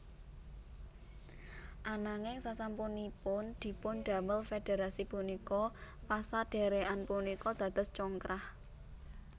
Ananging sasampunipun dipundamel Federasi punika pasadherekan punika dados congkrah